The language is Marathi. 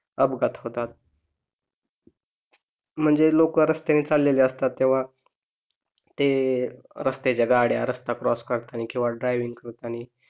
अपघात होतात. म्हणज लॊक रस्त्याने चालेले असतात तेव्हा ते रस्त्याच्या गाड्या रस्ता क्रॉस करताना किंवा ड्रायविंग करताना